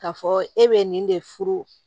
K'a fɔ e bɛ nin de furu